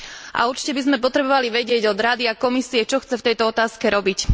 A určite by sme potrebovali vedieť od Rady a Komisie, čo chce v tejto otázke robiť.